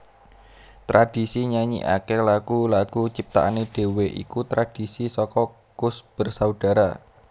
Tradhisi nyanyikaké lagu lagu ciptaané dhewé iku tradhisi saka Koes Bersaudara